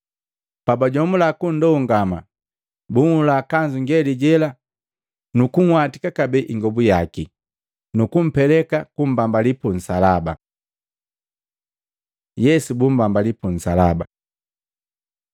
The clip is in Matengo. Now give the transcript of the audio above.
Pabajomula kundongama, bunhula kanzu ngeli jela nukunhwatika kabee ingobu yaki. Nukumpeleka kumbambali punsalaba. Yesu bumbambali pu nsalaba Maluko 15:21-32; Luka 23:26-43; Yohana 19:17-27